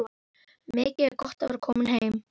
Mikið er gott að vera komin heim!